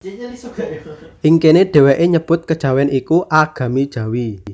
Ing kéné dhèwèké nyebut Kejawèn iku Agami Jawi